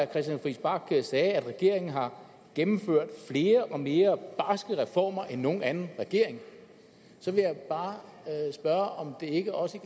christian friis bach sagde at regeringen har gennemført flere og mere barske reformer end nogen anden regering så vil jeg bare spørge om det ikke også